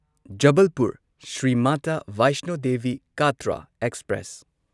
Jabalpur Shri Mata Vaishno Devi Katra express